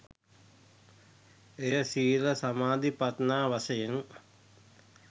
එය සීල සමාධි ප්‍රඥා වශයෙන්